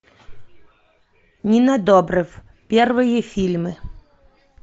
нина добрев первые фильмы